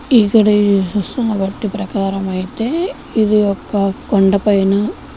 ఇక్కడ ఇది చూసుకుని బట్టి ప్రకారం అయితే ఇది ఒక కొండపైన--